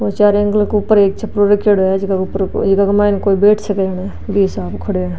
और चारो एंगल के ऊपर एक छपरा रखेड़ो है झक के ऊपर कोई बैठ सक है न बि हिसाब ऊ खड़ो है।